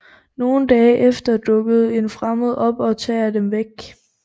Nogle dage efter dukker en fremmede op og tager dem væk